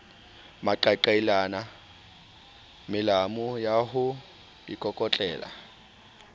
maqaqailana melamu ya ho ikokotlela